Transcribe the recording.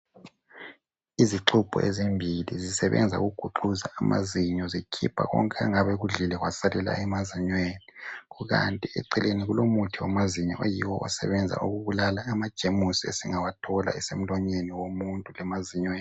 Izixubho ezimbili zisebenza ukuguxuza amazinyo zikhipha konke angabe ekudlile kwasalela emazinyweni. Kukanti eceleni Kulomuthi wamazinyo oyiwo osebenza ukubulala amajemusi esingawathola esemlonyeni womuntu lemazinyweni.